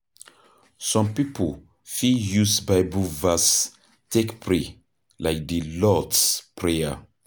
Some pipo fit use bible verse take pray, like di lord's prayer